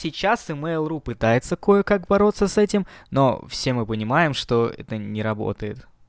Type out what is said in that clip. сейчас мэйл ру пытается кое как бороться с этим но все мы понимаем что это не работает